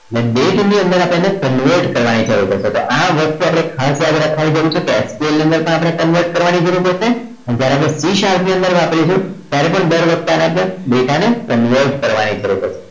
એટલે date ની અંદર આપણે એને convert કરવાની જરૂર પડશે તો આ વસ્તુ આપણે ખાસ યાદ રાખવાની જરૂર છે SQL ની અંદર પણ આપણે convert કરવાની જરૂર પડશે અને જ્યારે c sharp ની અંદર વાપરીશું ત્યારે પણ દર વખતે આને data ને convert કરવાની જરૂર પડશે